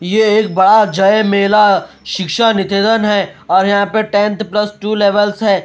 यह एक बड़ा जय मेला शिक्षा निकेतन है और यहां पर टेंथ प्लस टू लेवल्स है।